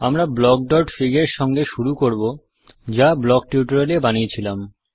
আমরা blockfig এর সঙ্গে শুরু করব যা ব্লক টিউটোরিয়াল এ বানিয়েছিলাম